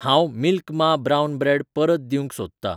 हांव मिल्क मा brown bread परत दिवंक सोदतां